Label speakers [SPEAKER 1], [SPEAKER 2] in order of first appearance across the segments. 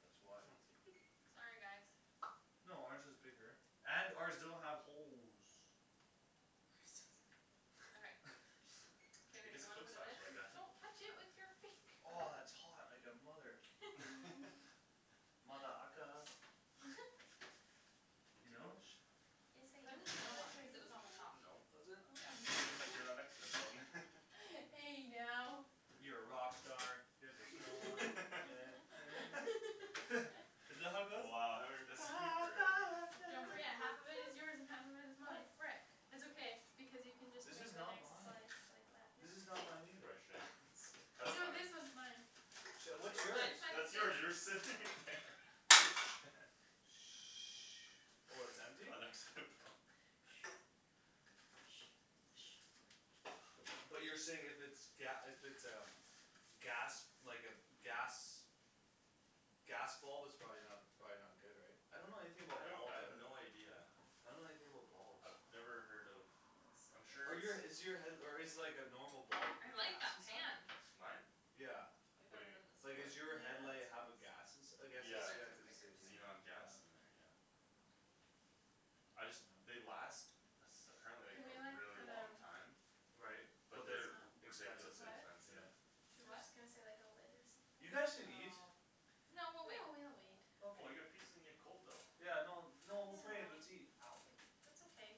[SPEAKER 1] That's why
[SPEAKER 2] Sorry guys
[SPEAKER 1] No ours is bigger, and ours doesn't have holes
[SPEAKER 2] Okay K
[SPEAKER 3] I
[SPEAKER 2] babe
[SPEAKER 3] guess
[SPEAKER 2] you
[SPEAKER 3] it
[SPEAKER 2] wanna
[SPEAKER 3] cooks
[SPEAKER 2] put it in?
[SPEAKER 3] faster like that
[SPEAKER 2] Don't touch it with your finger
[SPEAKER 1] Aw, it's hot like a mother-
[SPEAKER 4] Mm
[SPEAKER 1] Mother ucka
[SPEAKER 3] Good
[SPEAKER 1] You
[SPEAKER 3] to go?
[SPEAKER 1] know?
[SPEAKER 4] Yes
[SPEAKER 2] Put it in the middle one, cuz it was on the top
[SPEAKER 4] I
[SPEAKER 3] No
[SPEAKER 1] Was
[SPEAKER 2] Yeah
[SPEAKER 1] it?
[SPEAKER 3] Just like you're not
[SPEAKER 4] Hey now
[SPEAKER 1] You're a rock star, get the show on, get paid Isn't that how it goes?
[SPEAKER 3] Wow haven't heard that song in forever
[SPEAKER 4] Don't forget, half of it is yours and half of it is
[SPEAKER 2] Oh
[SPEAKER 4] mine
[SPEAKER 2] frick
[SPEAKER 4] It's okay, because you can just make
[SPEAKER 1] This
[SPEAKER 4] the
[SPEAKER 1] is
[SPEAKER 4] next
[SPEAKER 1] not
[SPEAKER 4] slice
[SPEAKER 1] mine This is not mine either
[SPEAKER 4] like that, yeah
[SPEAKER 3] That's
[SPEAKER 4] No
[SPEAKER 3] fine
[SPEAKER 4] this one's mine
[SPEAKER 1] Shit,
[SPEAKER 3] That's
[SPEAKER 1] what's
[SPEAKER 3] yours,
[SPEAKER 1] yours?
[SPEAKER 2] Mine's by the
[SPEAKER 3] that's
[SPEAKER 2] sink
[SPEAKER 3] yours you were sitting there
[SPEAKER 1] Oh it's
[SPEAKER 3] You
[SPEAKER 1] empty?
[SPEAKER 3] were next to it Paul
[SPEAKER 1] But you're saying if it's ga- if it's a gas, like a, gas Gas bulb it's probably not, it's probably not good right? I don't know anything
[SPEAKER 3] I
[SPEAKER 1] about
[SPEAKER 3] don't I
[SPEAKER 1] bulbs, I
[SPEAKER 3] have
[SPEAKER 1] don't
[SPEAKER 3] no idea
[SPEAKER 1] I don't know anything about bulbs
[SPEAKER 3] I've never heard of I'm
[SPEAKER 1] Are
[SPEAKER 3] sure
[SPEAKER 1] you a is
[SPEAKER 3] it's
[SPEAKER 1] your head- or is like a normal bulb
[SPEAKER 2] I like
[SPEAKER 1] gas
[SPEAKER 2] that
[SPEAKER 1] inside?
[SPEAKER 2] pan
[SPEAKER 3] Mine?
[SPEAKER 1] Yeah
[SPEAKER 2] Way
[SPEAKER 3] What do
[SPEAKER 2] better
[SPEAKER 3] you
[SPEAKER 2] than
[SPEAKER 1] Like
[SPEAKER 3] mean, what?
[SPEAKER 1] is your
[SPEAKER 4] Yeah
[SPEAKER 2] the
[SPEAKER 1] headlight
[SPEAKER 4] it's
[SPEAKER 1] have a gas
[SPEAKER 4] nice
[SPEAKER 1] ins- , I guess it's
[SPEAKER 3] Yeah,
[SPEAKER 2] Probably cuz
[SPEAKER 1] yeah
[SPEAKER 2] it's
[SPEAKER 1] cuz it
[SPEAKER 2] thicker
[SPEAKER 1] says
[SPEAKER 3] xenon
[SPEAKER 1] like,
[SPEAKER 2] too
[SPEAKER 1] yeah
[SPEAKER 3] gas in there yeah I just, they last Apparently like
[SPEAKER 4] Can we
[SPEAKER 3] a
[SPEAKER 4] like,
[SPEAKER 3] really
[SPEAKER 4] put
[SPEAKER 3] long
[SPEAKER 4] um
[SPEAKER 3] time
[SPEAKER 1] Right,
[SPEAKER 4] Put
[SPEAKER 1] but
[SPEAKER 3] But
[SPEAKER 4] this
[SPEAKER 1] they're
[SPEAKER 3] they're
[SPEAKER 1] expensive s-
[SPEAKER 3] ridiculously
[SPEAKER 4] on
[SPEAKER 2] What?
[SPEAKER 3] expensive
[SPEAKER 1] yeah
[SPEAKER 4] I was
[SPEAKER 2] Do what?
[SPEAKER 4] just gonna say like a lid or something
[SPEAKER 1] You guys can eat
[SPEAKER 2] Oh No
[SPEAKER 4] No
[SPEAKER 2] we'll
[SPEAKER 4] we'll
[SPEAKER 2] wait
[SPEAKER 4] wait
[SPEAKER 3] Oh well
[SPEAKER 1] Okay
[SPEAKER 3] your pizza's gonna get cold though
[SPEAKER 1] Yeah no no
[SPEAKER 4] Mm
[SPEAKER 1] we'll put it in,
[SPEAKER 4] I
[SPEAKER 1] let's eat
[SPEAKER 4] mean That's okay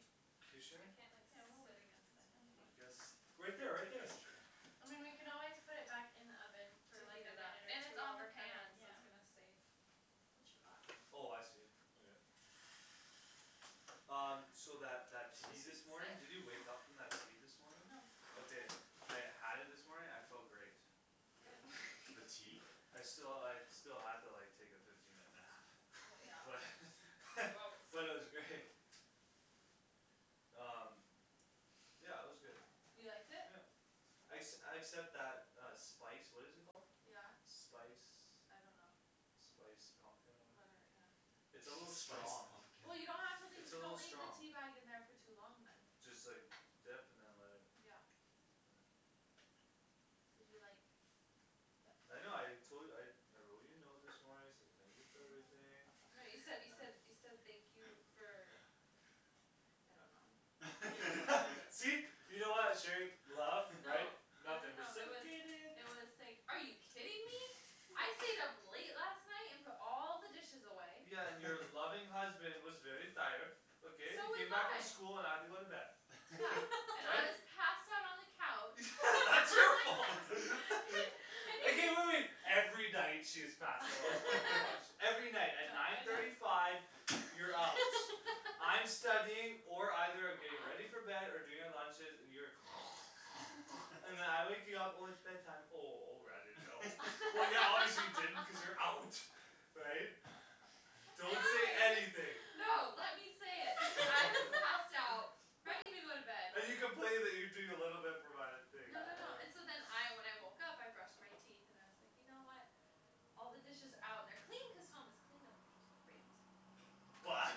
[SPEAKER 1] You
[SPEAKER 2] I
[SPEAKER 1] sure?
[SPEAKER 2] can't like
[SPEAKER 4] Yeah
[SPEAKER 2] sit
[SPEAKER 4] we'll
[SPEAKER 2] against
[SPEAKER 4] wait,
[SPEAKER 2] anything
[SPEAKER 3] Come
[SPEAKER 4] it's
[SPEAKER 3] you
[SPEAKER 4] fine
[SPEAKER 3] guys,
[SPEAKER 1] Right there
[SPEAKER 3] here
[SPEAKER 1] right
[SPEAKER 3] take
[SPEAKER 1] there
[SPEAKER 3] this chair
[SPEAKER 4] I mean we can always put it back in the oven, for
[SPEAKER 2] To
[SPEAKER 4] like
[SPEAKER 2] heat
[SPEAKER 4] a
[SPEAKER 2] it up,
[SPEAKER 4] minute or
[SPEAKER 2] and it's on the
[SPEAKER 4] two
[SPEAKER 2] pan, so
[SPEAKER 4] yeah
[SPEAKER 2] it's gonna stay
[SPEAKER 4] It should
[SPEAKER 2] hot
[SPEAKER 4] be fine.
[SPEAKER 1] Oh I see, okay Um, so that that
[SPEAKER 3] I
[SPEAKER 1] tea
[SPEAKER 3] guess he's
[SPEAKER 1] this morning, did you
[SPEAKER 2] Sit?
[SPEAKER 1] wake up from that tea this morning?
[SPEAKER 2] No
[SPEAKER 1] Okay I had it this morning, I felt great
[SPEAKER 2] good
[SPEAKER 3] the
[SPEAKER 2] that's
[SPEAKER 3] tea?
[SPEAKER 1] I sti- I still had to like take a fifteen minute nap
[SPEAKER 2] well
[SPEAKER 1] but
[SPEAKER 2] yeah you always
[SPEAKER 1] but
[SPEAKER 2] sleep
[SPEAKER 1] it was great um yeah it was good
[SPEAKER 2] you liked it?
[SPEAKER 1] yeah exc- except that uh spice what is it called?
[SPEAKER 2] yeah
[SPEAKER 1] spice
[SPEAKER 2] I don't know
[SPEAKER 1] spice pumpkin or
[SPEAKER 2] whatever yeah
[SPEAKER 1] it's a little
[SPEAKER 3] spice
[SPEAKER 1] strong
[SPEAKER 3] pumpkin
[SPEAKER 2] well you don't have to leave
[SPEAKER 1] it's a
[SPEAKER 2] don't
[SPEAKER 1] little
[SPEAKER 2] leave the
[SPEAKER 1] strong
[SPEAKER 2] teabag in there for too long then
[SPEAKER 1] just like dip and then let it
[SPEAKER 2] yeah
[SPEAKER 1] yeah
[SPEAKER 2] did you like th-
[SPEAKER 1] I know I tol- I I wrote you a note this morning I said thank you for everything
[SPEAKER 2] no you said you said you said thank you for I don't know
[SPEAKER 1] see laugh right
[SPEAKER 2] no I don't know it was I was like are you kidding me I stayed up late last night and put all the dishes away
[SPEAKER 1] yeah and your loving husband was very tired okay I
[SPEAKER 2] so was
[SPEAKER 1] came back from
[SPEAKER 2] I
[SPEAKER 1] school and I had to go to bed
[SPEAKER 2] yeah and I
[SPEAKER 1] but
[SPEAKER 2] was passed out on the couch
[SPEAKER 1] that's your fault okay wait wait wait every night she is passed out in the couch every night at
[SPEAKER 2] yeah
[SPEAKER 1] nine
[SPEAKER 2] I know
[SPEAKER 1] thirty five you're out I'm studying or either I'm getting ready
[SPEAKER 4] aw
[SPEAKER 1] for bed or doing the lunches and you're and then I wake you up when it's bed time oh oh r I didn't know well yeah obviously you didn't because you're out right? don't say anything
[SPEAKER 2] no let me say it because I was passed out ready to go to bed
[SPEAKER 1] and you complaining you doing
[SPEAKER 2] no no no and so then I when I woke up I brushed my teeth and I was like you know what all the dishes out and they're clean cause Thomas cleaned them which was great
[SPEAKER 1] but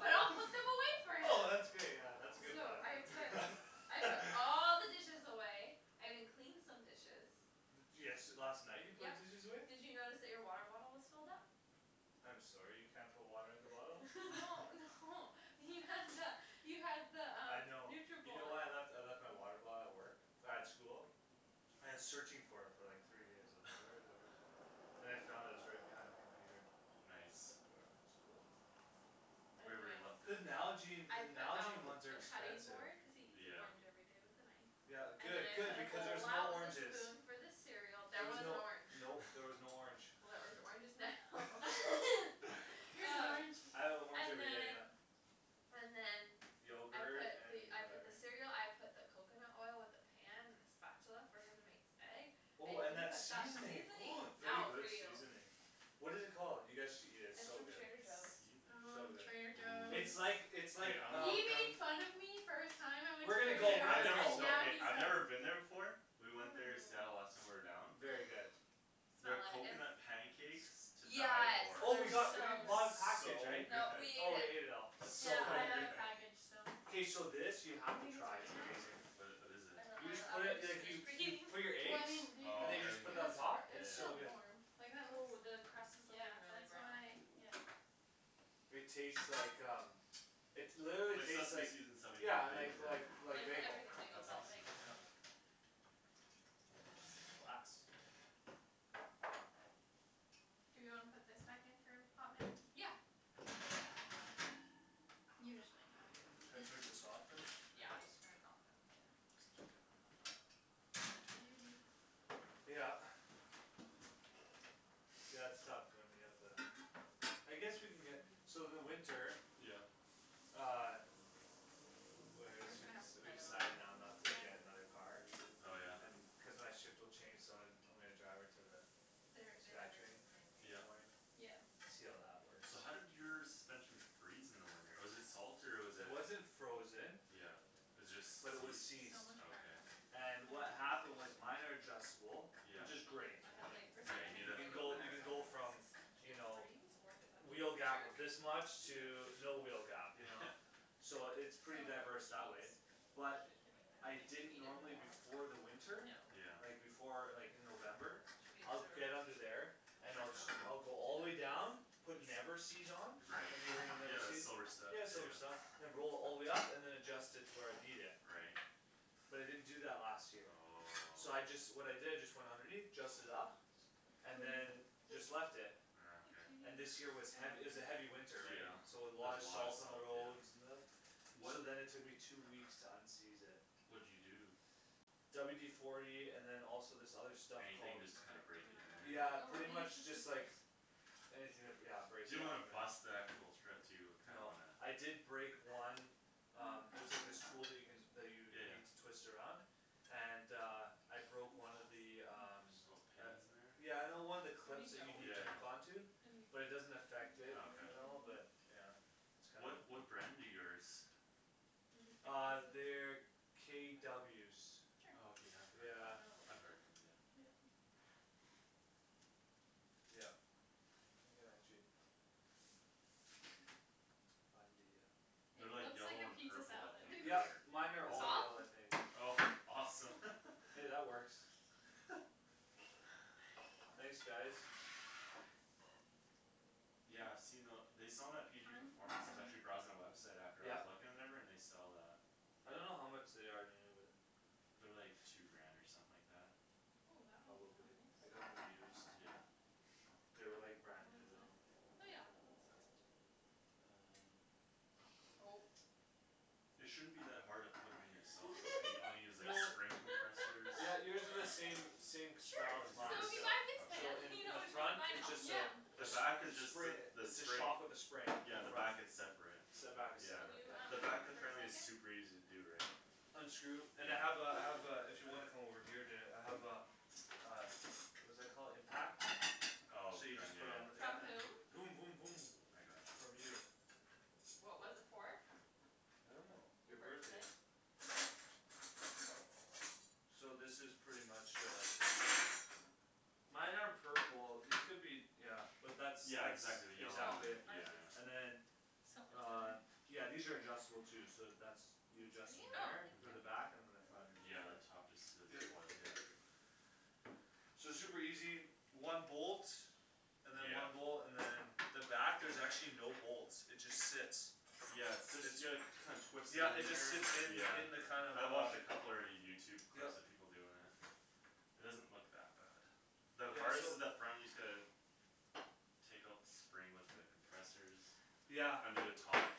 [SPEAKER 2] but I'll put them away for
[SPEAKER 1] oh
[SPEAKER 2] him
[SPEAKER 1] that's great yeah that's a good
[SPEAKER 2] so
[SPEAKER 1] but
[SPEAKER 2] I
[SPEAKER 1] that's a good
[SPEAKER 2] put
[SPEAKER 1] but
[SPEAKER 2] I put all the dishes away I even cleaned some dishes
[SPEAKER 1] de- desh last night you put
[SPEAKER 2] yup
[SPEAKER 1] dishes away?
[SPEAKER 2] did you notice that your water bottle was filled up?
[SPEAKER 1] I'm sorry you can't put water in the bottle
[SPEAKER 2] no no you had the you had the
[SPEAKER 1] I
[SPEAKER 2] um
[SPEAKER 1] know you know what I
[SPEAKER 2] Nutribullet
[SPEAKER 1] left I left my water bottle at work at school I was searching for it for like three days I was like where is it where is it and I found it it was right behind the computer
[SPEAKER 3] nice right where
[SPEAKER 2] anyway
[SPEAKER 3] you left it
[SPEAKER 1] the Nalgene
[SPEAKER 2] I
[SPEAKER 1] the
[SPEAKER 2] put
[SPEAKER 1] Nalgene
[SPEAKER 2] out
[SPEAKER 1] ones are
[SPEAKER 2] the cutting
[SPEAKER 1] expensive
[SPEAKER 2] board because he eats an
[SPEAKER 3] yeah
[SPEAKER 2] orange everyday with a knife
[SPEAKER 1] yeah
[SPEAKER 2] and then
[SPEAKER 1] good
[SPEAKER 2] I
[SPEAKER 1] good
[SPEAKER 2] put a
[SPEAKER 1] because there's
[SPEAKER 2] bowl
[SPEAKER 1] no
[SPEAKER 2] out with a
[SPEAKER 1] oranges
[SPEAKER 2] spoon for the cereal there
[SPEAKER 1] there was
[SPEAKER 2] was an
[SPEAKER 1] no
[SPEAKER 2] orange
[SPEAKER 1] no there was no orange
[SPEAKER 2] well there's oranges now
[SPEAKER 4] here's an
[SPEAKER 2] oh
[SPEAKER 4] orange
[SPEAKER 1] I have an orange
[SPEAKER 2] and
[SPEAKER 1] everyday yeah
[SPEAKER 2] then and then I
[SPEAKER 1] yogurt
[SPEAKER 2] put the
[SPEAKER 1] and
[SPEAKER 2] I put the
[SPEAKER 1] whatever
[SPEAKER 2] cereal I put the coconut oil with the pan and the spatula for him to make his egg I
[SPEAKER 1] oh and
[SPEAKER 2] even
[SPEAKER 1] that
[SPEAKER 2] put that
[SPEAKER 1] seasoning oh
[SPEAKER 2] seasonings
[SPEAKER 1] very
[SPEAKER 2] out
[SPEAKER 1] good
[SPEAKER 2] for you
[SPEAKER 1] seasoning what it called you guys should eat it it's
[SPEAKER 2] it's
[SPEAKER 1] so
[SPEAKER 2] from
[SPEAKER 1] good
[SPEAKER 2] Trader Joe's
[SPEAKER 3] seasoning
[SPEAKER 1] so
[SPEAKER 4] ooo
[SPEAKER 1] good
[SPEAKER 4] Trader
[SPEAKER 1] it's like
[SPEAKER 4] Joe's
[SPEAKER 3] ooh
[SPEAKER 1] it's
[SPEAKER 3] okay
[SPEAKER 1] like
[SPEAKER 3] I'm
[SPEAKER 1] um
[SPEAKER 3] hooked on
[SPEAKER 1] we're gonna go
[SPEAKER 3] Okay
[SPEAKER 1] we're
[SPEAKER 3] I
[SPEAKER 1] gonna go
[SPEAKER 3] never
[SPEAKER 1] we're
[SPEAKER 3] no I've never been there before we went there in Seattle last
[SPEAKER 4] hum
[SPEAKER 3] time we were down
[SPEAKER 1] very good
[SPEAKER 2] oh
[SPEAKER 3] their
[SPEAKER 2] smell it it's
[SPEAKER 3] coconut pancakes to die
[SPEAKER 2] yeah
[SPEAKER 3] for
[SPEAKER 1] oh we
[SPEAKER 2] it's
[SPEAKER 1] got we bought a package
[SPEAKER 3] so good
[SPEAKER 2] no we
[SPEAKER 1] oh
[SPEAKER 2] ate
[SPEAKER 1] we ate it
[SPEAKER 2] it
[SPEAKER 1] all it's
[SPEAKER 4] yeah
[SPEAKER 3] so
[SPEAKER 1] so
[SPEAKER 4] I have
[SPEAKER 3] good
[SPEAKER 1] good
[SPEAKER 4] a package so
[SPEAKER 1] k so this you
[SPEAKER 4] do you
[SPEAKER 1] have to
[SPEAKER 4] think it's
[SPEAKER 1] try its
[SPEAKER 4] ready
[SPEAKER 1] amazing
[SPEAKER 4] now?
[SPEAKER 3] wha- what is
[SPEAKER 2] I
[SPEAKER 3] it
[SPEAKER 2] don't know
[SPEAKER 1] you just
[SPEAKER 2] the
[SPEAKER 1] put
[SPEAKER 2] other
[SPEAKER 1] it like you you put your
[SPEAKER 4] well
[SPEAKER 1] eggs
[SPEAKER 4] I mean do you
[SPEAKER 1] and then
[SPEAKER 4] think it
[SPEAKER 1] you
[SPEAKER 3] oh
[SPEAKER 4] was
[SPEAKER 1] just put that
[SPEAKER 4] super
[SPEAKER 1] on top
[SPEAKER 4] it was
[SPEAKER 1] it's
[SPEAKER 3] yeah
[SPEAKER 1] so
[SPEAKER 4] still
[SPEAKER 1] good
[SPEAKER 4] warm
[SPEAKER 3] yeah
[SPEAKER 4] like that
[SPEAKER 2] oh
[SPEAKER 4] looks
[SPEAKER 2] the crust is like
[SPEAKER 4] yeah
[SPEAKER 2] really
[SPEAKER 4] that's
[SPEAKER 2] brown
[SPEAKER 4] why
[SPEAKER 3] ooh
[SPEAKER 4] yeah
[SPEAKER 1] it taste like um it literally
[SPEAKER 3] like
[SPEAKER 1] tastes
[SPEAKER 3] seaseme
[SPEAKER 1] like
[SPEAKER 3] seeds in bagel
[SPEAKER 1] yeah
[SPEAKER 3] yeah
[SPEAKER 1] like like like
[SPEAKER 2] like the
[SPEAKER 1] bagel
[SPEAKER 2] everything bagel
[SPEAKER 3] that's
[SPEAKER 2] without the
[SPEAKER 3] awesome
[SPEAKER 2] bagel
[SPEAKER 1] yeah glass
[SPEAKER 4] do we wanna put think back in for a hot minute?
[SPEAKER 2] yeah
[SPEAKER 1] should I turn just this off than
[SPEAKER 2] yeah I'm just turn it off and just keep it
[SPEAKER 4] yeah
[SPEAKER 2] warm in there
[SPEAKER 4] what are you doing?
[SPEAKER 1] yeah
[SPEAKER 3] yeah
[SPEAKER 2] okay
[SPEAKER 1] yeah it's tough when you have to I guess we can get so in the winter
[SPEAKER 3] yeah
[SPEAKER 1] uh li- li- like
[SPEAKER 2] we're just
[SPEAKER 1] excuse
[SPEAKER 2] gonna
[SPEAKER 1] me
[SPEAKER 2] have to
[SPEAKER 1] we we
[SPEAKER 2] cut all in
[SPEAKER 1] decided now
[SPEAKER 2] there
[SPEAKER 1] not to get
[SPEAKER 4] when
[SPEAKER 1] another car
[SPEAKER 3] oh yeah
[SPEAKER 1] cuz my shift will change so I I'm gonna drive her to the
[SPEAKER 2] their they'd
[SPEAKER 1] sky
[SPEAKER 2] everything
[SPEAKER 1] train
[SPEAKER 2] the same way
[SPEAKER 1] in the
[SPEAKER 3] yeah
[SPEAKER 1] morning
[SPEAKER 2] right
[SPEAKER 4] yeah
[SPEAKER 1] see how that works
[SPEAKER 3] so how did your suspension freeze in the winter was it salt or was
[SPEAKER 1] it
[SPEAKER 3] it
[SPEAKER 1] wasn't frozen
[SPEAKER 3] yeah was it
[SPEAKER 1] but it was
[SPEAKER 3] just seized
[SPEAKER 1] seized
[SPEAKER 3] okay
[SPEAKER 1] and
[SPEAKER 2] I know
[SPEAKER 1] what happened was
[SPEAKER 2] seriously
[SPEAKER 1] minor adjustable
[SPEAKER 3] yeah
[SPEAKER 1] which is great
[SPEAKER 2] I
[SPEAKER 1] I
[SPEAKER 2] had like
[SPEAKER 1] mean
[SPEAKER 2] firstly
[SPEAKER 3] yeah
[SPEAKER 2] I
[SPEAKER 3] you
[SPEAKER 2] had
[SPEAKER 3] need
[SPEAKER 1] you
[SPEAKER 2] no
[SPEAKER 3] it
[SPEAKER 1] can
[SPEAKER 3] for
[SPEAKER 2] idea
[SPEAKER 3] the
[SPEAKER 1] go
[SPEAKER 2] what Paul
[SPEAKER 3] winter
[SPEAKER 1] you
[SPEAKER 2] was
[SPEAKER 1] can
[SPEAKER 2] talking
[SPEAKER 1] go
[SPEAKER 2] about
[SPEAKER 1] from you
[SPEAKER 2] suspension
[SPEAKER 1] know
[SPEAKER 2] freeze
[SPEAKER 1] wheel gap of this much to
[SPEAKER 3] yeah
[SPEAKER 1] no wheel gap you know
[SPEAKER 3] yeah
[SPEAKER 1] so it's pretty
[SPEAKER 4] so a
[SPEAKER 1] diverse
[SPEAKER 4] lot
[SPEAKER 1] that
[SPEAKER 4] of
[SPEAKER 1] way
[SPEAKER 4] cheese
[SPEAKER 1] but
[SPEAKER 2] yeah I
[SPEAKER 1] I
[SPEAKER 2] don't think they
[SPEAKER 1] didn't
[SPEAKER 2] needed
[SPEAKER 1] normally
[SPEAKER 2] more on
[SPEAKER 1] before
[SPEAKER 2] top
[SPEAKER 1] the winter
[SPEAKER 4] No
[SPEAKER 3] yeah
[SPEAKER 1] like before like in November I'd get under there and
[SPEAKER 3] check
[SPEAKER 1] I'll
[SPEAKER 3] it
[SPEAKER 1] sc-
[SPEAKER 3] out
[SPEAKER 1] I'll go all the way down put never-seez on
[SPEAKER 3] right
[SPEAKER 1] have you ever heard of
[SPEAKER 3] yeah the
[SPEAKER 1] never-seez?
[SPEAKER 3] silver stuff yeah
[SPEAKER 1] yeah silver
[SPEAKER 3] yeah
[SPEAKER 1] stuff all the way up and than adjust it to where I need it
[SPEAKER 3] right
[SPEAKER 1] but I didn't do that last year
[SPEAKER 3] oh
[SPEAKER 1] so I just what I did is just went underneath adjust it up
[SPEAKER 2] what
[SPEAKER 1] and
[SPEAKER 2] is
[SPEAKER 4] what
[SPEAKER 2] it
[SPEAKER 1] than
[SPEAKER 4] is
[SPEAKER 1] just
[SPEAKER 4] it?
[SPEAKER 1] left it
[SPEAKER 4] just
[SPEAKER 3] ah
[SPEAKER 4] a
[SPEAKER 3] okay
[SPEAKER 1] and
[SPEAKER 4] little
[SPEAKER 1] this year
[SPEAKER 4] cheese,
[SPEAKER 1] was hea- it
[SPEAKER 4] oh
[SPEAKER 1] was a heavy
[SPEAKER 4] yeah
[SPEAKER 1] winter
[SPEAKER 3] yeah
[SPEAKER 1] so
[SPEAKER 3] there was
[SPEAKER 1] a lot of
[SPEAKER 3] a lot of
[SPEAKER 1] salt on the
[SPEAKER 3] salt
[SPEAKER 1] roads
[SPEAKER 3] yeah
[SPEAKER 1] and stuff so
[SPEAKER 3] wha-
[SPEAKER 1] then it took me two weeks to unseize it
[SPEAKER 3] what'd you do?
[SPEAKER 1] WD forty and than also this other stuff
[SPEAKER 3] anything
[SPEAKER 1] called
[SPEAKER 3] just to kinda break it in there
[SPEAKER 1] yeah
[SPEAKER 2] oh
[SPEAKER 1] pretty
[SPEAKER 2] we'll use the
[SPEAKER 1] much just like
[SPEAKER 2] scissors
[SPEAKER 1] anything to br- yeah break
[SPEAKER 3] you
[SPEAKER 1] it
[SPEAKER 3] don't
[SPEAKER 1] up
[SPEAKER 3] wanna
[SPEAKER 1] and
[SPEAKER 3] bust the actual thread too you kinda
[SPEAKER 1] no
[SPEAKER 3] wanna
[SPEAKER 1] I did break one um there's like this tool you can that you
[SPEAKER 3] yeah
[SPEAKER 1] need
[SPEAKER 3] yeah
[SPEAKER 1] to twist around and uh I
[SPEAKER 2] balls
[SPEAKER 1] broke
[SPEAKER 2] my
[SPEAKER 1] one of the um
[SPEAKER 3] little
[SPEAKER 2] gosh
[SPEAKER 3] pins in
[SPEAKER 1] uh
[SPEAKER 3] there
[SPEAKER 1] yeah no one of the
[SPEAKER 4] is there
[SPEAKER 1] clips
[SPEAKER 4] any
[SPEAKER 1] that you
[SPEAKER 4] dough
[SPEAKER 1] need
[SPEAKER 4] with
[SPEAKER 3] yeah
[SPEAKER 1] to
[SPEAKER 4] that
[SPEAKER 1] hook
[SPEAKER 3] yeah
[SPEAKER 1] on to
[SPEAKER 4] any
[SPEAKER 1] but it doesn't affect it
[SPEAKER 3] okay
[SPEAKER 1] at all but yeah it's kinda
[SPEAKER 3] what what brand do yours
[SPEAKER 2] maybe three
[SPEAKER 1] uh they're
[SPEAKER 2] pieces for them
[SPEAKER 1] KWs
[SPEAKER 3] okay I've
[SPEAKER 4] cuz
[SPEAKER 3] heard of
[SPEAKER 1] yeah
[SPEAKER 4] I
[SPEAKER 3] them
[SPEAKER 4] know they'll
[SPEAKER 3] I've
[SPEAKER 4] eat it
[SPEAKER 3] heard of them yeah
[SPEAKER 1] yup you can actually find the uh
[SPEAKER 4] it
[SPEAKER 3] they're like
[SPEAKER 4] looks like
[SPEAKER 3] yellow
[SPEAKER 4] a
[SPEAKER 3] and
[SPEAKER 4] pizza
[SPEAKER 3] purple I
[SPEAKER 4] salad
[SPEAKER 3] think
[SPEAKER 1] yup
[SPEAKER 3] or
[SPEAKER 1] mine are
[SPEAKER 3] is
[SPEAKER 1] all
[SPEAKER 3] that
[SPEAKER 2] off
[SPEAKER 1] I think
[SPEAKER 3] oh awesome
[SPEAKER 1] hey that works thanks guys
[SPEAKER 3] yeah I've seen the they sell them at PG
[SPEAKER 2] kind
[SPEAKER 3] performance I was actually browsing the website after I was
[SPEAKER 1] yup
[SPEAKER 3] looking and whatever and they sell that
[SPEAKER 1] I don't know how much they are new but
[SPEAKER 3] they're like two grant or something like that
[SPEAKER 2] ooh that one came out
[SPEAKER 1] probably
[SPEAKER 2] nice
[SPEAKER 1] I got them used
[SPEAKER 3] yeah
[SPEAKER 1] they were like brand
[SPEAKER 2] how
[SPEAKER 1] new
[SPEAKER 2] is it?
[SPEAKER 1] though
[SPEAKER 4] oh yeah it looks good
[SPEAKER 1] um
[SPEAKER 4] oh
[SPEAKER 3] it shouldn't be that hard to put em in yourself though right all you need is
[SPEAKER 1] no
[SPEAKER 3] like spring compressors
[SPEAKER 1] yeah you would do the same same as
[SPEAKER 4] sure
[SPEAKER 3] as
[SPEAKER 2] so
[SPEAKER 1] mine
[SPEAKER 3] yours
[SPEAKER 2] if you buy this
[SPEAKER 1] still so
[SPEAKER 2] pan
[SPEAKER 3] okay
[SPEAKER 1] in
[SPEAKER 2] you
[SPEAKER 1] in
[SPEAKER 2] know
[SPEAKER 1] the
[SPEAKER 2] which one to
[SPEAKER 1] front
[SPEAKER 2] buy
[SPEAKER 1] it
[SPEAKER 2] now.
[SPEAKER 1] just uh
[SPEAKER 4] yeah
[SPEAKER 3] the
[SPEAKER 1] jus-
[SPEAKER 3] back is
[SPEAKER 1] jus-
[SPEAKER 3] just
[SPEAKER 1] spring
[SPEAKER 3] a the
[SPEAKER 1] its a
[SPEAKER 3] spring
[SPEAKER 1] shock with a spring in
[SPEAKER 3] yeah, the
[SPEAKER 1] front
[SPEAKER 3] back it's separate
[SPEAKER 1] the back is
[SPEAKER 3] yeah
[SPEAKER 2] can
[SPEAKER 1] separate
[SPEAKER 2] you um
[SPEAKER 3] the
[SPEAKER 1] yeah
[SPEAKER 3] back
[SPEAKER 2] move for a
[SPEAKER 3] apparently is
[SPEAKER 2] second
[SPEAKER 3] super easy to do right
[SPEAKER 1] unscrew and I
[SPEAKER 3] yeah
[SPEAKER 1] have uh I have uh if you wanna come over here and do it I have a uh what's that called impact
[SPEAKER 3] oh
[SPEAKER 1] so you
[SPEAKER 3] from
[SPEAKER 1] just
[SPEAKER 3] yeah
[SPEAKER 1] put on the
[SPEAKER 3] yeah
[SPEAKER 2] from
[SPEAKER 1] yeah um
[SPEAKER 2] whom
[SPEAKER 1] voom voom voom
[SPEAKER 3] I got
[SPEAKER 1] from
[SPEAKER 3] you
[SPEAKER 1] you
[SPEAKER 2] what was it for?
[SPEAKER 1] I don't know
[SPEAKER 2] your
[SPEAKER 1] your birthday
[SPEAKER 2] birthday
[SPEAKER 1] so this is pretty much uh mine are purple they could be yeah but that's
[SPEAKER 3] yeah
[SPEAKER 1] that's
[SPEAKER 3] exactly the yellow
[SPEAKER 2] oh
[SPEAKER 3] one
[SPEAKER 1] exactly it
[SPEAKER 3] yeah
[SPEAKER 2] ours is
[SPEAKER 3] yeah
[SPEAKER 1] and then on yeah these are adjustable too so that's you adjust them
[SPEAKER 4] oh
[SPEAKER 1] there for the
[SPEAKER 4] thank
[SPEAKER 3] uh-huh
[SPEAKER 1] back and
[SPEAKER 4] you
[SPEAKER 1] than the front is
[SPEAKER 3] yeah the
[SPEAKER 1] just there
[SPEAKER 3] top just does
[SPEAKER 1] yep
[SPEAKER 3] a coil yeah
[SPEAKER 1] so it's super easy one bolt and than
[SPEAKER 3] yeah
[SPEAKER 1] one bolt and than the back there's actually no bolts it just sits
[SPEAKER 3] yeah it sit
[SPEAKER 1] it's
[SPEAKER 3] yea- you kind twist it
[SPEAKER 1] yeah
[SPEAKER 3] in
[SPEAKER 1] it just
[SPEAKER 3] there
[SPEAKER 1] sits in
[SPEAKER 3] yeah
[SPEAKER 1] in the kind of
[SPEAKER 3] I watched a
[SPEAKER 1] uh
[SPEAKER 3] couple already Youtube
[SPEAKER 1] yup
[SPEAKER 3] clips of people doin' it it doesn't look that bad the
[SPEAKER 1] yeah
[SPEAKER 3] hardest
[SPEAKER 1] so
[SPEAKER 3] is the front you just gotta take out the spring with the compressors
[SPEAKER 1] yeah
[SPEAKER 3] under the top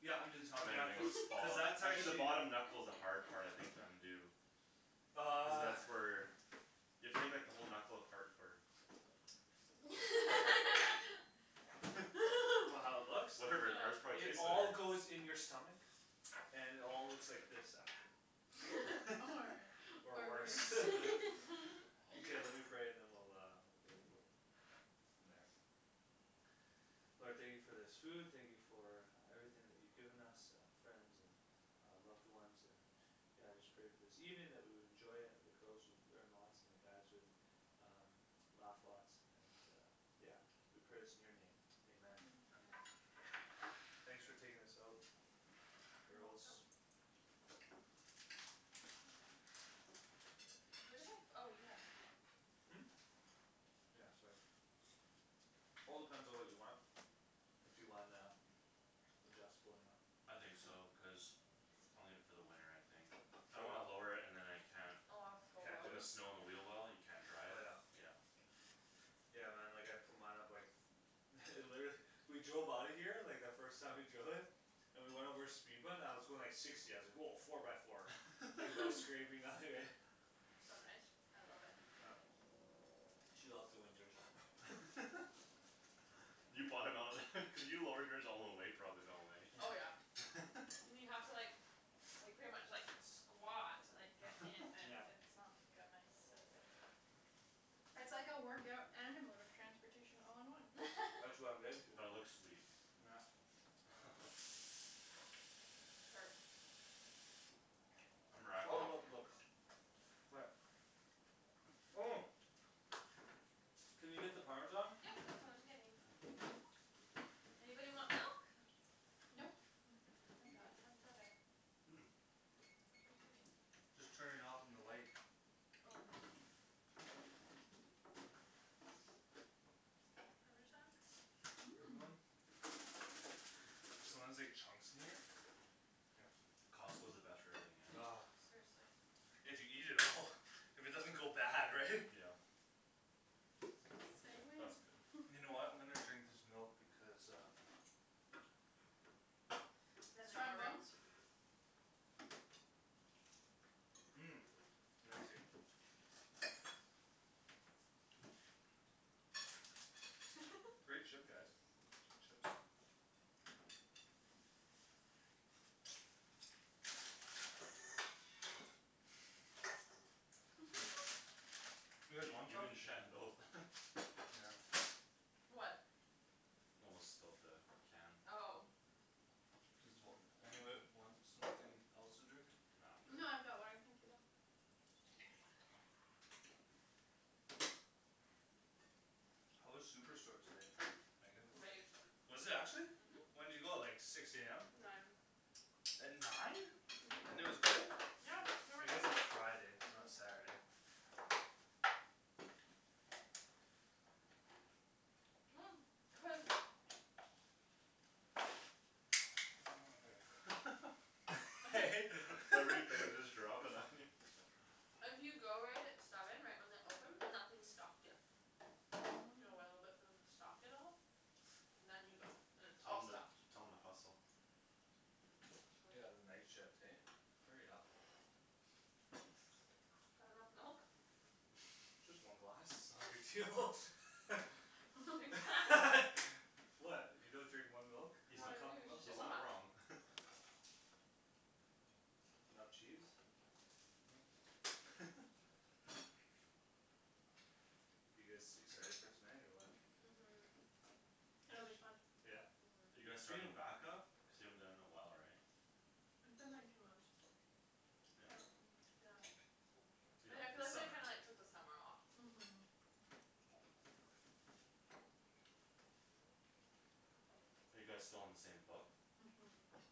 [SPEAKER 1] yeah under the top
[SPEAKER 3] and than
[SPEAKER 1] yeah
[SPEAKER 3] everything
[SPEAKER 1] cuz
[SPEAKER 3] will just
[SPEAKER 1] cuz
[SPEAKER 3] follow
[SPEAKER 1] that's
[SPEAKER 3] actually the
[SPEAKER 1] actually
[SPEAKER 3] bottom knuckle's the hard part I think to undo cuz
[SPEAKER 1] uh
[SPEAKER 3] that's where you have to take like the whole knuckle apart for
[SPEAKER 1] what how it looks?
[SPEAKER 3] whatever ours
[SPEAKER 2] no
[SPEAKER 3] probably
[SPEAKER 1] it
[SPEAKER 3] tastes
[SPEAKER 1] all
[SPEAKER 3] better
[SPEAKER 1] goes in your stomach and it all looks like this after or worse okay let me pray and then we'll go
[SPEAKER 3] ooh
[SPEAKER 1] for from there Lord thank you for this food thank you for everything that you given us uh friends and uh loved ones and yeah I just pray for this evening that we will enjoy and the girls would learn lots and the guys would um laugh lots and uh yeah we pray this in your name Amen
[SPEAKER 2] amen
[SPEAKER 1] thanks for taking this out girls
[SPEAKER 2] where did my oh you have my phone
[SPEAKER 1] hm yeah sorry all depends on what you want if you wan- uh adjustable or not
[SPEAKER 3] I think so because I'll need it for the winter I think I
[SPEAKER 1] throw
[SPEAKER 3] don't wanna
[SPEAKER 1] what
[SPEAKER 3] lower it and than I can't
[SPEAKER 1] can't do
[SPEAKER 3] put the
[SPEAKER 1] it
[SPEAKER 3] snow on the wheel well and you can't drive
[SPEAKER 1] oh yeah
[SPEAKER 3] yeah
[SPEAKER 1] yeah man like I'd put mine up like literally we drove outta here like the first time we drove it and we went over a speed bump and I was going like sixty I was like woah four by four like no scraping nothing right
[SPEAKER 2] so nice I love it
[SPEAKER 1] yup she loves the winters
[SPEAKER 3] you bought him out cuz you lowered yours all the way probably eh
[SPEAKER 2] oh yeah and you have to like like pretty much like squat to like get in and
[SPEAKER 1] yeah
[SPEAKER 2] it's not gonna I step in
[SPEAKER 4] it's like a workout and a mode of transportation all in one
[SPEAKER 1] that's what I'm getting to
[SPEAKER 3] but it looks sweet
[SPEAKER 1] yeah it's all about
[SPEAKER 2] oh
[SPEAKER 1] the looks what oh can you get the parmesan
[SPEAKER 2] yep that's what I'm getting
[SPEAKER 3] oh
[SPEAKER 2] anybody want milk?
[SPEAKER 4] nope
[SPEAKER 2] we got tons of it
[SPEAKER 3] hm
[SPEAKER 2] what're you doing?
[SPEAKER 1] just turning it off on the light
[SPEAKER 2] oh parmesan
[SPEAKER 4] mmm
[SPEAKER 1] anyone? there's sometimes like chunks in there here
[SPEAKER 3] Costco's the best for everything eh
[SPEAKER 1] ah
[SPEAKER 2] seriously
[SPEAKER 1] if you eat it all if it doesn't go bad right
[SPEAKER 3] yeah
[SPEAKER 4] say
[SPEAKER 3] oh that's good
[SPEAKER 4] when
[SPEAKER 1] you know what I'm gonna drink this milk because uh
[SPEAKER 2] then we have
[SPEAKER 4] strong
[SPEAKER 2] more room
[SPEAKER 4] bones
[SPEAKER 1] mmm amazing great chip guys chips you guys
[SPEAKER 3] you
[SPEAKER 1] want
[SPEAKER 3] you
[SPEAKER 1] some?
[SPEAKER 3] and Shan both
[SPEAKER 1] yeah
[SPEAKER 2] what
[SPEAKER 3] spilt the can
[SPEAKER 2] oh
[SPEAKER 1] does wh- anybody want something else to drink?
[SPEAKER 3] no
[SPEAKER 4] No
[SPEAKER 3] I'm
[SPEAKER 4] I've
[SPEAKER 3] good
[SPEAKER 4] got water thank you though
[SPEAKER 1] how was Superstore today Meagan?
[SPEAKER 2] great
[SPEAKER 1] was it actually
[SPEAKER 2] mhm
[SPEAKER 1] when'd you go like six am
[SPEAKER 2] nine
[SPEAKER 1] at nine
[SPEAKER 2] uh-huh
[SPEAKER 1] and it was good?
[SPEAKER 2] yeah
[SPEAKER 1] I guess it's Friday it's not
[SPEAKER 2] uh- uh
[SPEAKER 1] Saturday
[SPEAKER 2] cuz
[SPEAKER 1] oh mother I hate that
[SPEAKER 3] everything just dropping on you
[SPEAKER 2] if you go right at seven right when they open nothing's stocked yet you gotta wait a little bit
[SPEAKER 4] hm
[SPEAKER 2] for them to stock it all and then you go and it's
[SPEAKER 3] tell
[SPEAKER 2] all
[SPEAKER 3] them
[SPEAKER 2] stocked
[SPEAKER 3] tell them to hustle
[SPEAKER 2] uh-huh I should
[SPEAKER 1] yeah the night shift hey hurry up
[SPEAKER 2] that enough milk
[SPEAKER 1] just one glass its not a big deal what you don't drink one milk?
[SPEAKER 3] he's
[SPEAKER 2] No
[SPEAKER 1] one
[SPEAKER 3] not
[SPEAKER 2] I do
[SPEAKER 1] cup of
[SPEAKER 2] its
[SPEAKER 1] milk
[SPEAKER 2] just a
[SPEAKER 3] he's not
[SPEAKER 2] lot
[SPEAKER 3] wrong
[SPEAKER 1] enough cheese huh you guys excited for tonight or what
[SPEAKER 2] mhm
[SPEAKER 4] It'll be fun
[SPEAKER 1] yeah
[SPEAKER 3] are
[SPEAKER 2] uh-huh
[SPEAKER 3] you guys
[SPEAKER 1] its been a
[SPEAKER 3] starting back-up cuz you haven't done it in a while right
[SPEAKER 4] It's been like two months
[SPEAKER 3] yeah
[SPEAKER 2] hm
[SPEAKER 4] um yeah
[SPEAKER 2] yeah I
[SPEAKER 3] yeah
[SPEAKER 2] yeah feel
[SPEAKER 3] the
[SPEAKER 2] like I
[SPEAKER 3] summer
[SPEAKER 2] kinda like took the summer off
[SPEAKER 4] mhm
[SPEAKER 3] are you guys still on the same book
[SPEAKER 4] uh-huh
[SPEAKER 2] uh-huh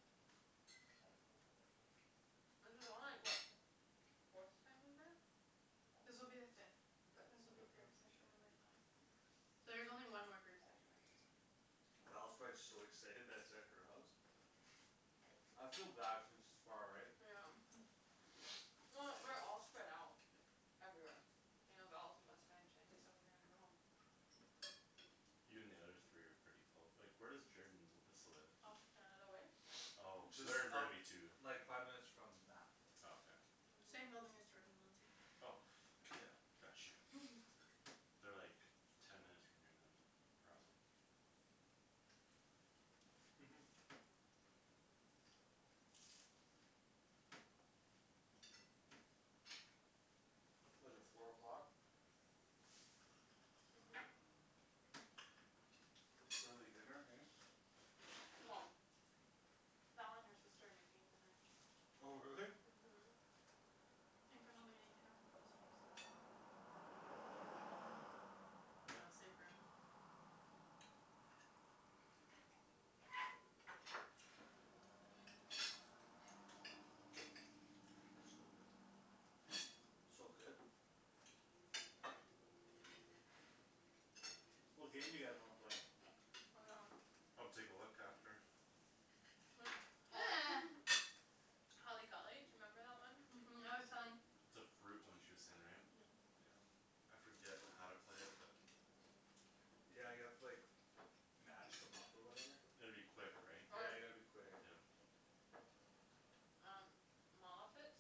[SPEAKER 2] this is only like what forth time we've met
[SPEAKER 4] This will be the fifth
[SPEAKER 2] fifth
[SPEAKER 4] this will be
[SPEAKER 2] uh-huh
[SPEAKER 4] group session number five so there's only one more group session after this one
[SPEAKER 1] Val's probably so excited that its at her house I feel bad cuz its far right
[SPEAKER 2] yeah um
[SPEAKER 4] uh-huh
[SPEAKER 2] well we're all spread out everywhere you know Val's in West Van Shandy's on Grant we're all
[SPEAKER 3] you and the other three are pretty close like where does Jorden and Alyssa live?
[SPEAKER 2] off Canada Way
[SPEAKER 3] oh so
[SPEAKER 1] just
[SPEAKER 3] they're in
[SPEAKER 1] up
[SPEAKER 3] Burnaby too
[SPEAKER 1] like five minutes from Mat
[SPEAKER 3] oh okay
[SPEAKER 4] same
[SPEAKER 2] uh-huh
[SPEAKER 4] building as Jordan and Lindsay
[SPEAKER 3] oh
[SPEAKER 1] yeah
[SPEAKER 3] got you they're like ten minutes from here than probably
[SPEAKER 1] uh-huh what's it four o'clock
[SPEAKER 2] uh-huh
[SPEAKER 4] uh-huh
[SPEAKER 1] early dinner hey
[SPEAKER 2] well Val and her sister are making dinner
[SPEAKER 1] oh really?
[SPEAKER 2] uh-huh
[SPEAKER 4] I think I'm only gonna eat half of this piece
[SPEAKER 3] hm
[SPEAKER 2] you know
[SPEAKER 3] yeah
[SPEAKER 2] save room
[SPEAKER 1] so good
[SPEAKER 2] uh-huh
[SPEAKER 1] so good what game do you guys wanna play?
[SPEAKER 3] I'll take a look after
[SPEAKER 2] holly holly golly do you remember that one?
[SPEAKER 4] uh-huh I was telling
[SPEAKER 3] it's a fruit one she way saying right
[SPEAKER 2] uh-huh
[SPEAKER 3] yeah I forget how to play it but
[SPEAKER 1] yeah you have to like match them up or whatever
[SPEAKER 3] you gotta be quick right
[SPEAKER 1] yeah
[SPEAKER 2] or
[SPEAKER 1] you gotta be quick
[SPEAKER 3] yeah
[SPEAKER 2] um mall outfits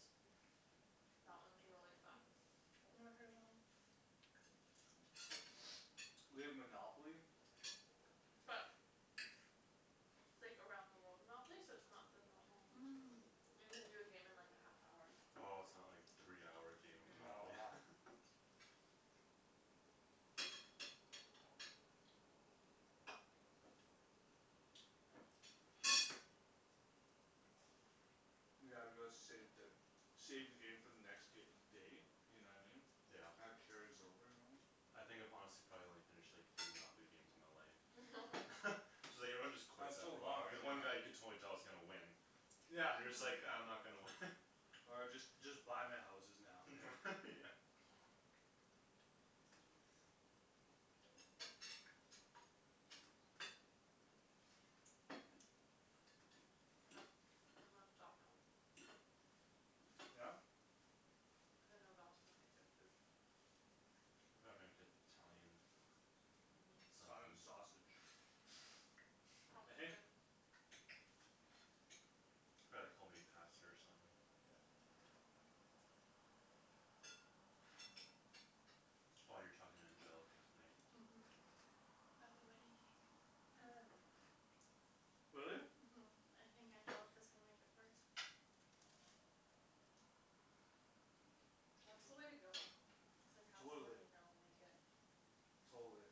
[SPEAKER 2] that one's really fun
[SPEAKER 4] never heard of that one
[SPEAKER 1] we have Monopoly
[SPEAKER 2] but it's like around the world Monopoly so its not the normal
[SPEAKER 4] um
[SPEAKER 2] you can do a game in like a half hour
[SPEAKER 3] oh its not like three hour game of
[SPEAKER 1] no
[SPEAKER 2] uh-huh
[SPEAKER 3] Monopoly
[SPEAKER 1] yeah, let's save the save the game for the next day you know what I mean
[SPEAKER 3] yeah
[SPEAKER 1] that carries over normally
[SPEAKER 3] I think if I'm honest I've probably only finished like three Monopoly games in my life so like everyone just quits
[SPEAKER 1] it's so
[SPEAKER 3] after a
[SPEAKER 1] long
[SPEAKER 3] while because
[SPEAKER 1] right
[SPEAKER 3] one guy you
[SPEAKER 1] yeah
[SPEAKER 3] could
[SPEAKER 2] uh-huh
[SPEAKER 3] totally tell is gonna win
[SPEAKER 1] yeah
[SPEAKER 3] you're just like ah I'm
[SPEAKER 4] uh-huh
[SPEAKER 3] not gonna win
[SPEAKER 1] or just just buy my houses now okay
[SPEAKER 3] yeah
[SPEAKER 2] I'm gonna stop now
[SPEAKER 1] yeah
[SPEAKER 2] cuz I know Val's gonna make good food
[SPEAKER 3] they'll probably make it- Italian
[SPEAKER 2] uh-huh
[SPEAKER 1] Italian
[SPEAKER 3] something
[SPEAKER 1] sausage he - hey
[SPEAKER 3] probably like home made pasta or something
[SPEAKER 1] yeah
[SPEAKER 3] oh you're talking to Angelica tonight
[SPEAKER 4] uh-huh about the wedding cake
[SPEAKER 2] uh
[SPEAKER 1] really?
[SPEAKER 4] uh-huh I think Angelica's gonna make it for us
[SPEAKER 2] that's the way to go it's like have someone
[SPEAKER 1] totally
[SPEAKER 2] you know make it
[SPEAKER 1] totally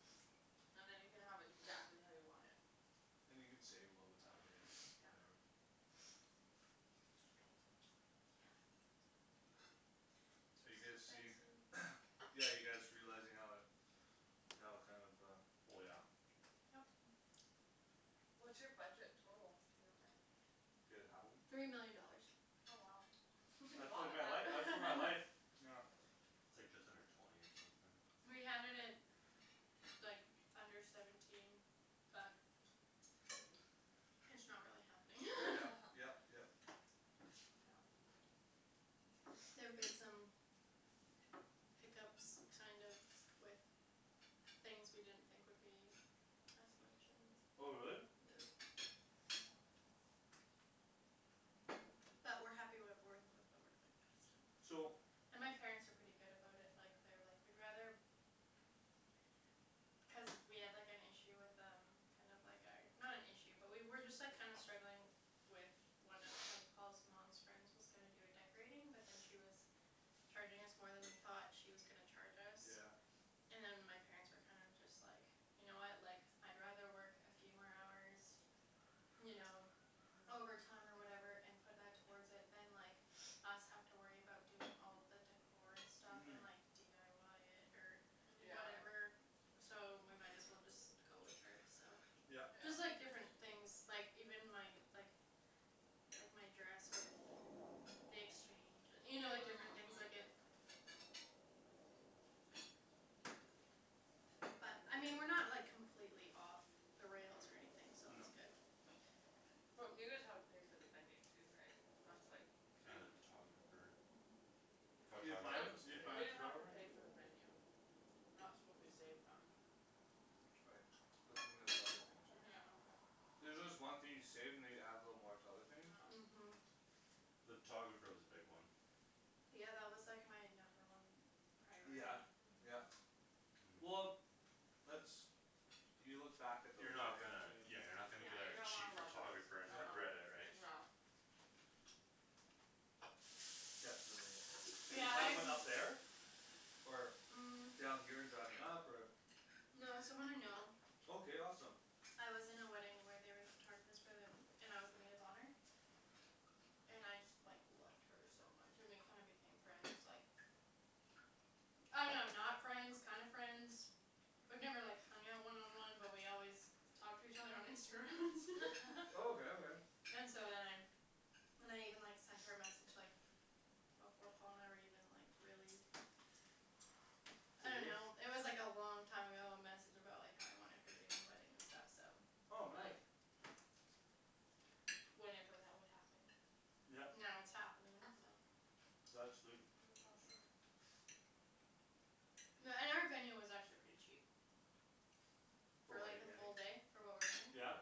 [SPEAKER 2] and then you can have exactly how you want it
[SPEAKER 1] and you can save a little bit that way or whatever
[SPEAKER 2] yeah
[SPEAKER 1] so are you
[SPEAKER 4] it's
[SPEAKER 1] guys see
[SPEAKER 4] expensive
[SPEAKER 1] yeah you guys realizing how how kinda of um
[SPEAKER 3] oh yeah
[SPEAKER 4] yup
[SPEAKER 2] what's your budget total if you don't mind
[SPEAKER 1] do you guys have one?
[SPEAKER 4] three million dollars
[SPEAKER 2] oh wow you can do a
[SPEAKER 1] that's
[SPEAKER 2] lot
[SPEAKER 1] like
[SPEAKER 2] with
[SPEAKER 1] my life uh that's uh my life
[SPEAKER 2] that
[SPEAKER 1] yeah
[SPEAKER 3] its like just under twenty or something
[SPEAKER 4] we had it at like under seventeen but it's not really happening
[SPEAKER 1] yep yep yep
[SPEAKER 2] yeah
[SPEAKER 4] there've been some hiccups kind of with things we didn't think would be as much and
[SPEAKER 1] oh really?
[SPEAKER 4] yeah but we're happy with with what we're
[SPEAKER 1] so
[SPEAKER 4] and my parents are pretty good about it like they're like we'd rather cuz we had like an issue with um kinda like our not an issue but we were just like kinda struggling with one of like Paul's mom's friend's was gonna do a decorating but then she was charging us more than we thought she was gonna charge
[SPEAKER 1] yeah
[SPEAKER 4] us and my parents were kind of just like you know what like I'd rather work a few more hours you know
[SPEAKER 2] uh-huh
[SPEAKER 4] overtime or whatever and put that towards it than like us have to worry about doing all the decor and stuff
[SPEAKER 1] uh-huh
[SPEAKER 4] and like dyi it or
[SPEAKER 2] yeah
[SPEAKER 4] whatever so we might as well just go with her so
[SPEAKER 1] yup
[SPEAKER 2] yeah
[SPEAKER 4] just like different things like even my like like my dress with the exchange and you know different things like it
[SPEAKER 2] uh-huh
[SPEAKER 4] but I mean we're not like completely off the rails or anything so
[SPEAKER 3] no
[SPEAKER 4] that's good
[SPEAKER 2] well you guys have to pay for the venue too right that's like huge
[SPEAKER 3] and the photographer
[SPEAKER 4] uh-huh
[SPEAKER 3] photographer was big
[SPEAKER 2] we didn't have to pay for the
[SPEAKER 4] uh-huh
[SPEAKER 2] venue that's what we saved on
[SPEAKER 1] right but then there's other things right
[SPEAKER 2] yeah but
[SPEAKER 1] there's just one thing you save and they you add a little more to other things
[SPEAKER 2] yeah
[SPEAKER 4] uh-huh
[SPEAKER 3] the photographer was a big one
[SPEAKER 4] yeah that was like my number one
[SPEAKER 1] yeah
[SPEAKER 4] priority
[SPEAKER 1] yeah
[SPEAKER 2] uh-huh
[SPEAKER 3] uh-huh
[SPEAKER 1] well that's you look back at those
[SPEAKER 3] you're not
[SPEAKER 1] right
[SPEAKER 3] gonna yeah you're
[SPEAKER 1] too
[SPEAKER 3] not gonna
[SPEAKER 2] yeah
[SPEAKER 3] get
[SPEAKER 2] you're
[SPEAKER 3] a
[SPEAKER 2] gonna wanna
[SPEAKER 3] cheap
[SPEAKER 2] love those
[SPEAKER 3] photographer
[SPEAKER 2] uh-
[SPEAKER 3] and
[SPEAKER 2] uh
[SPEAKER 1] yeah
[SPEAKER 3] regret it right
[SPEAKER 2] yeah
[SPEAKER 1] definitely, did you
[SPEAKER 4] yeah
[SPEAKER 1] find
[SPEAKER 4] I've
[SPEAKER 1] one up there or,
[SPEAKER 4] um
[SPEAKER 1] down here and driving up or
[SPEAKER 4] No it's someone I know
[SPEAKER 1] okay awesome
[SPEAKER 4] I was in a wedding where they were the photographers for the and I was the maid of honor and I just like loved her so much and we kinda became friends like I don't know not friends kinda friends we've never like hung out one on one but we always talk to each other on Instagram and stuff
[SPEAKER 1] oh okay okay
[SPEAKER 4] and so then I then I even like sent her a message like before Paul and I were even like really I don't
[SPEAKER 1] serious
[SPEAKER 4] know it was like a long time ago a message about like how I wanted her to do my wedding and stuff so
[SPEAKER 1] oh
[SPEAKER 4] like
[SPEAKER 1] nice
[SPEAKER 4] Whenever that would happen and
[SPEAKER 1] yep
[SPEAKER 4] now it's happening so
[SPEAKER 1] that's sweet
[SPEAKER 2] that's awesome
[SPEAKER 4] Yeah and our venue was actually pretty cheap
[SPEAKER 1] for
[SPEAKER 4] for
[SPEAKER 1] what
[SPEAKER 4] like
[SPEAKER 1] you're
[SPEAKER 4] a
[SPEAKER 1] getting,
[SPEAKER 4] full day for what we're
[SPEAKER 3] yeah
[SPEAKER 1] yeah
[SPEAKER 4] getting